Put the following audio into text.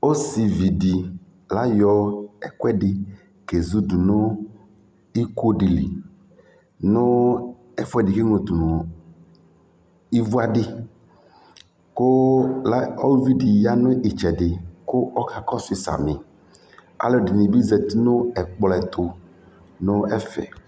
Ɔsɩvi dɩ ayɔ ɛkʋɛdɩ kezudu nʋ iko dɩ li nʋ ɛfʋɛdɩ kʋ eŋlo tʋ nʋ ivuadɩ kʋ a uvi dɩ ya nʋ ɩtsɛdɩ kʋ ɔkakɔsʋ yɩ samɩ Alʋ ɛdɩnɩ bɩ zati nʋ ɛkplɔ ɛtʋ nʋ ɛfɛ